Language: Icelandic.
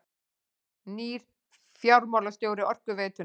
Nýr fjármálastjóri Orkuveitunnar